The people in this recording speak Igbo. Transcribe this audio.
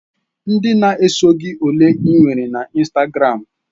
Ndị na-eso gị ole ị nwere na Instagram?